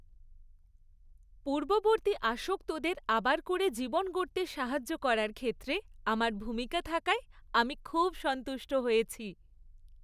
পূর্ববর্তী আসক্তদের আবার করে জীবন গড়তে সাহায্য করার ক্ষেত্রে আমার ভূমিকা থাকায় আমি খুব সন্তুষ্ট হয়েছি।